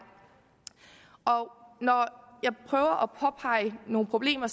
når jeg prøver at påpege nogle problemer